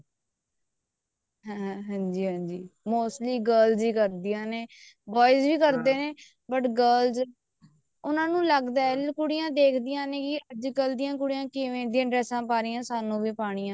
ਹਾਂ ਹਾਂਜੀ mostly girls ਹੀ ਕਰਦੀਆਂ ਨੇ boys ਵੀ ਕਰਦੇ ਨੇ but girls ਉਹਨਾ ਨੂੰ ਲੱਗਦਾ ਵੀ ਕੁੜੀਆਂ ਦੇਖਦੀਆਂ ਨੇ ਅੱਜਕਲ ਦੀਆਂ ਕੁੜੀਆਂ ਕਿਵੇਂ ਦੀਆਂ dresses ਪਾ ਰਹੀਆਂ ਸਾਨੂੰ ਵੀ ਪਾਉਣੀਆਂ